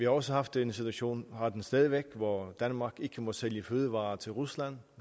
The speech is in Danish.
også haft en situation og har den stadig væk hvor danmark ikke må sælge fødevarer til rusland